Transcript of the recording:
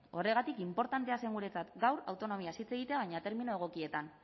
horregatik inportantea zen guretzat gaur autonomiaz hitz egitea baina termino egokietan